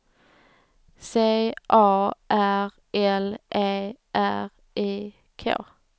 C A R L E R I K